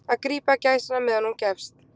Að grípa gæsina meðan hún gefst